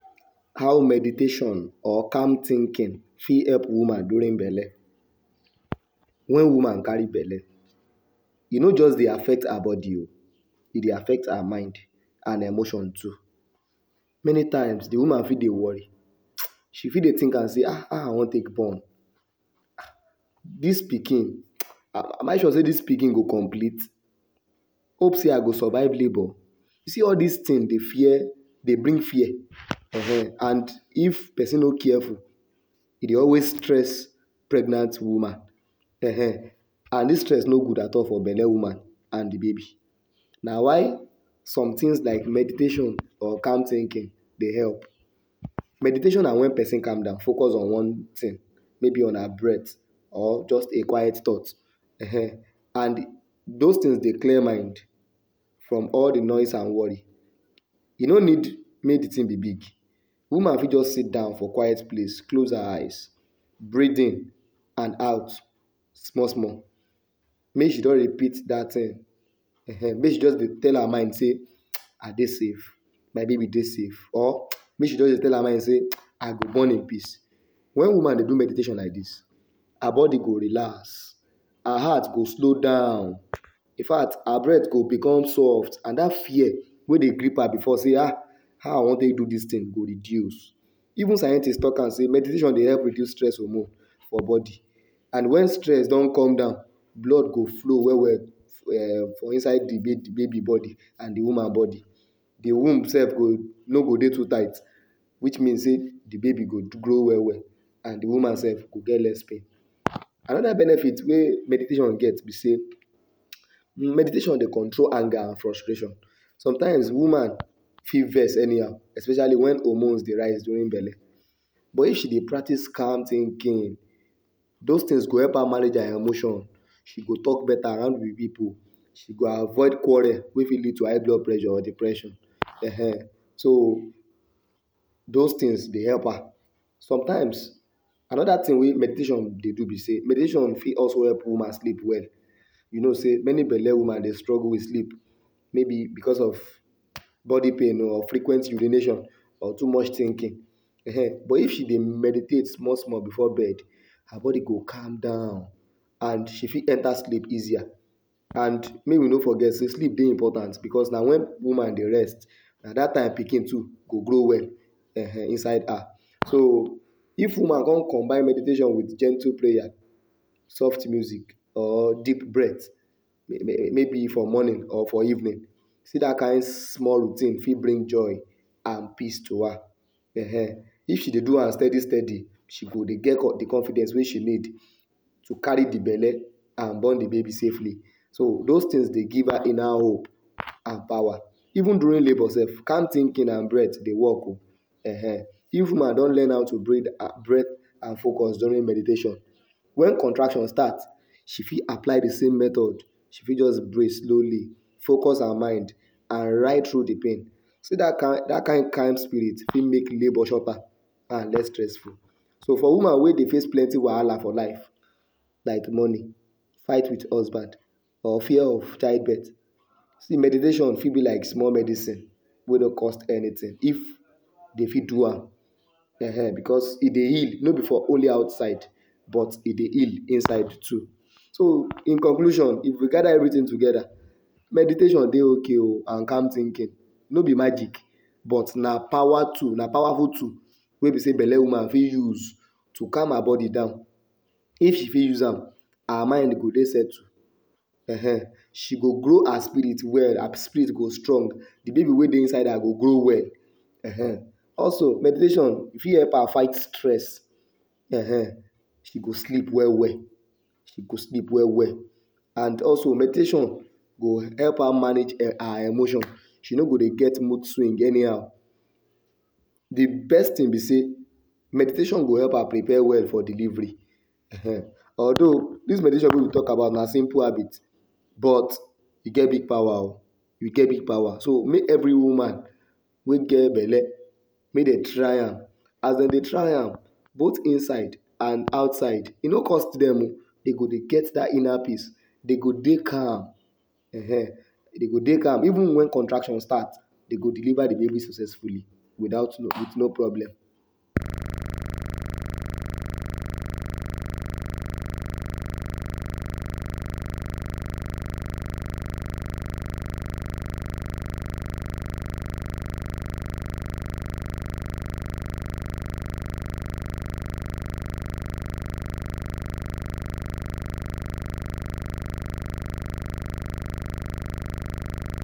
How meditation or calm thinking fit help woman during belle? Wen woman carry belle, e no just dey affect her bodi o, e dey affect her mind and emotion too. Many times de woman fit dey worry, she fit dey wonder sey ah how I want take born dis pikin, am I sure say dis pikin go complete? Hope sey I go survive labour? You see all dis thing dey fear dey bring fear um and if person no careful, e dey always stress pregnant woman um and dis stress no good at all for belle woman and de baby. Na why some things like meditation or calm thinking dey help. Meditation na wen pesin calm down focus on one thing maybe on her breathe or just a quiet thought um and those things dey clear mind from all de noise and worry. E no need make de thing be big. woman fit just sit down for quiet place close her eyes breath in and out small small make she just repeat dat um um make she just dey tell her mind sey, I dey safe my baby dey safe or make she just dey tell her mind sey I go born in peace. Wen woman dey do meditation like dis, her body go relax, her heart go slow down, in fact her breath go become soft and dat fear wey dey grip her before sey um how I want take do dis thing go reduce. Even scientists talk am sey meditation dey help reduce stress hormone for body and wen stress don come down blood go flow well well for inside de baby and de woman body. The womb sef no go dey too tight, which mean sey de baby go grow well well and de woman sef go get less pain. Another benefit wey meditation get be sey, meditation dey control anger and frustration sometimes woman fit vex anyhow especially wen hormones dey rise during belle. But if she dey practice calm thinking, those things go help her manage her emotions, she go talk beta hang with pipu, she go avoid quarrel wey fit lead to high blood pressure or depression um so those things dey help her. Sometimes another thing wey meditation dey do be sey meditation fit also help woman sleep well you know sey many belle woman dey struggle with sleep maybe becos of body pain o or frequent urination or too much thinking um but if she dey meditate small small before bed, her body go calm down and she fit enter sleep easier and make we no forget say sleep dey important becos na wen woman dey rest na dat time pikin too go grow well um inside her. So if woman con combine meditation with gentle prayer, soft music or deep breath maybe for morning or for evening see dat king small routine fit bring joy and peace to her um. If she dey do am steady steady she go dey get de confidence wey she need to carry de belle and born de baby safely. Those things dey give her inner hope and power. Even during labour sef, calm thinking and breath dey work o um if woman don learn how to breathe breath and focus during meditation, wen contraction start she fit apply de same method, she fit just breath slowly, focus her mind and ride through de pain. See dat kind dat kind kind spirit fit make labour shorter and less stressful. So woman wey dey face plenty wahala for life like money, fight with husband or fear of childbirth, see meditation be like small medicine wey no cost anything if dey fit do am um becos e dey heal no be for only outside but e dey heal inside too. So in conclusion, if you gather everything together, meditation dey ok o and calm thinking no be magic but na power tool na powerful tool wey be sey belle woman fit use to calm her body down. If she fit use am, her mind go dey settle um, she go grow her spirit well. Her spirit go strong, de baby wey dey inside her go grow well um. Also meditation e fit help her fight stress um she go sleep well well, she go sleep well well and also meditation go help her mange her emotion. She no go dey get mood swing anyhow. de best thing be say meditation go help her prepare well for delivery, um. Although dis meditation wey we dey talk about na simple habit but e get big power o, e get big power so make every woman wey get belle make dem try am. As dem dey try am, both inside and outside, e no cost dem o, dey go get dat inner peace dey go dey calm ehen dey go dey calm even wen contraction start, dey do deliver de baby successfully without with no problem.